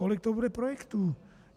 Kolik to bude projektů?